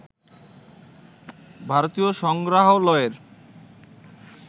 ভারতীয় সংগ্রহালয়ের